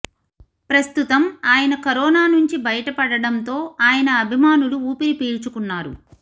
ప్రస్తుతం అయన కరోనా నుంచి బయటపడడంతో అయన అభిమానులు ఉపిరి పీల్చుకున్నారు